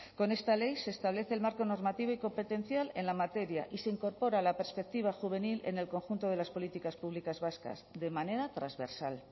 con esta ley se establece el marco normativo y competencial en la materia y se incorpora la perspectiva juvenil en el conjunto de las políticas públicas vascas de manera transversal